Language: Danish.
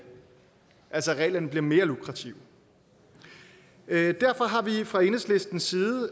at reglerne altså bliver mere lukrative derfor har vi fra enhedslistens side